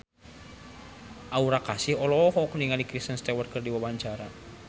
Aura Kasih olohok ningali Kristen Stewart keur diwawancara